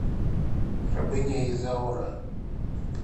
рабыня изаура